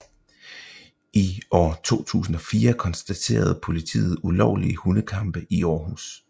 I år 2004 konstaterede politiet ulovlige hundekampe i Århus